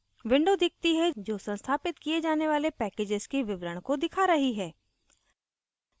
window दिखती है जो संस्थापित किये जाने वाले packages के विवरण को दिखा रही है